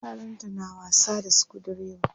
Yaranta na wasa da sukudireba.